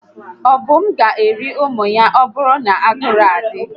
Ọdụm gá eri ụmụ ya ma ọbụrụ na ụnwụ adị